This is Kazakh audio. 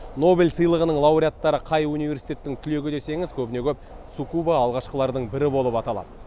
нобель сыйлығының лауреаттары қай университеттің түлегі десеңіз көбіне көп цукуба алғашқылардың бірі болып аталады